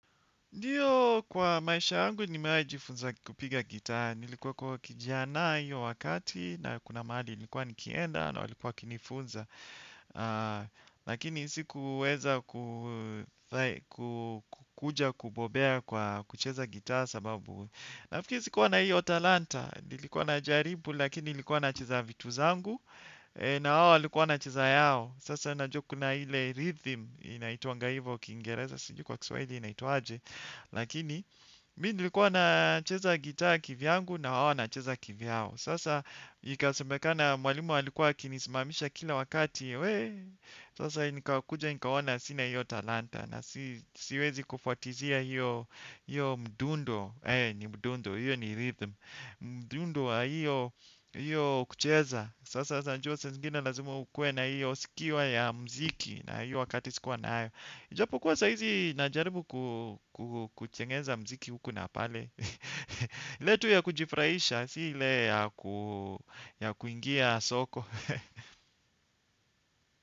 Ndiyo kwa maisha yangu nimejifunza kupiga gitaa. Nilikuwa kijiana hiyo wakati na kuna mahali nilikuwa nikienda na walikuwa wakinifunza. Lakini sikuweza kukuja kubobea kwa kucheza gitaa sababu. Nafiri sikuwa na hiyo talanta. Nilikuwa najaribu lakini nilikuwa nacheza vitu zangu. Na wao walikuwa wanacheza yao. Sasa najua kuna ile rhythm inaitwanga hivo. Kiingereza sijuu kwa kiswahili inaitwa aje. Lakini, mimi nilikuwa nacheza gitaa kivyangu na hao wanacheza kivyao. Sasa, ikasemekana mwalimu alikuwa akinisimamisha kila wakati, weee, sasa nikakuja, nikaona sina hiyo talanta na siwezi kufuatizia hiyo mduundo, heee, ni mduundo, iyo ni rhythm, mduundo wa iyo, iyo kucheza. Sasa, unajua, saa zingine lazima ukue na iyo sikiwa ya mziki na iyo wakati sikuwa n ayo. Japo kuwa saa hizi najaribu kutengeneza mziki huku na pale. Letu ya kujifurahisha, si ile ya kuingia soko.